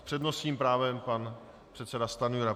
S přednostním právem pan předseda Stanjura.